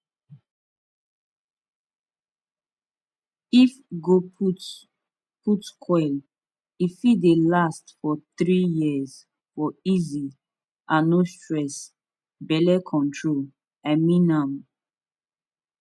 if go put put coil e fit dey last for 3yrs for easy and no stress belle control i mean am